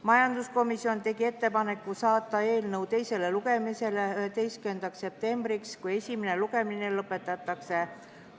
Majanduskomisjon tegi ettepaneku saata eelnõu teisele lugemisele 11. septembriks, kui esimene lugemine lõpetatakse.